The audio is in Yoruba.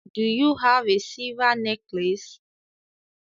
Do you have a silver necklace